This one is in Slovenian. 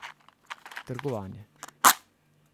Trgovanje.